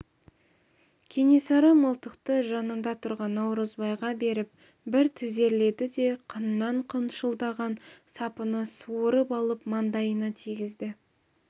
кенесары мылтықты жанында тұрған наурызбайға беріп бір тізерледі де қынынан қылшылдаған сапыны суырып алып маңдайына тигізді